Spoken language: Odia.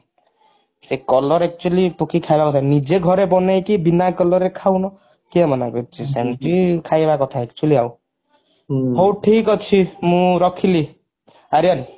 ସେ color actually ପକେଇକି ଖାଇବା କଥା ନୁହଁ ନିଜେ ଘରେ ବନେଇକି ବିନା color ରେ ଖାଉନ କିଏ ମନା କରୁଛି ସେମିତି ଖାଇବା କଥା actually ଆଉ ହଉ ଠିକ ଅଛି ମୁଁ ରଖିଲି ଅରିୟାନ।